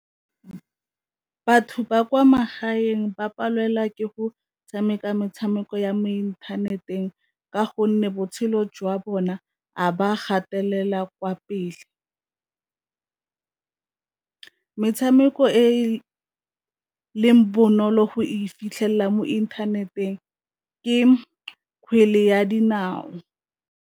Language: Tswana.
Batho ba kwa magaeng ba palelwa ke go tshameka metshameko ya mo inthaneteng, ka gonne botshelo jwa bona a ba gatelela kwa pele. Metshameko e leng bonolo go e fitlhelela mo inthaneteng ke kgwele ya dinao.